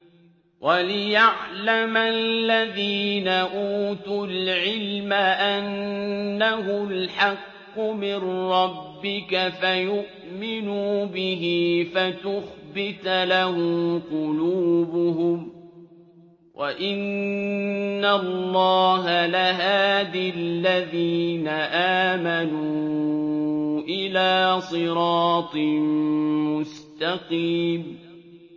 وَلِيَعْلَمَ الَّذِينَ أُوتُوا الْعِلْمَ أَنَّهُ الْحَقُّ مِن رَّبِّكَ فَيُؤْمِنُوا بِهِ فَتُخْبِتَ لَهُ قُلُوبُهُمْ ۗ وَإِنَّ اللَّهَ لَهَادِ الَّذِينَ آمَنُوا إِلَىٰ صِرَاطٍ مُّسْتَقِيمٍ